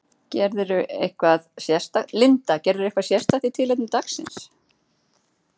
Linda: Gerirðu eitthvað sérstakt í tilefni dagsins?